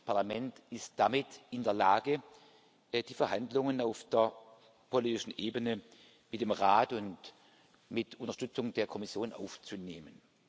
Das Parlament ist damit in der Lage, die Verhandlungen auf der politischen Ebene mit dem Rat und mit Unterstützung der Kommission aufzunehmen.